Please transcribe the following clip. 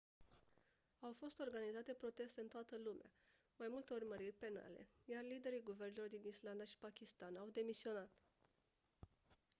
au fost organizate proteste în toată lumea mai multe urmăriri penale iar liderii guvernelor din islanda și pakistan au demisionat